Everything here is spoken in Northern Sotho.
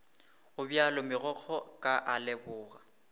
gobjalo megokgo ka a leboga